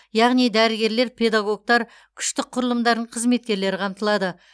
яғни дәрігерлер педагогтар күштік құрылымдардың қызметкерлері қамтылады